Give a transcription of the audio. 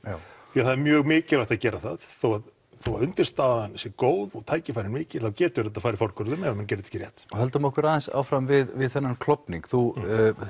því að það er mjög mikilvægt að gera það þó þó að undirstaðan sé góð og tækifærin mikil þá getur þetta farið fortölum ef menn gera þetta ekki rétt höldum okkur aðeins áfram við þennan klofning þú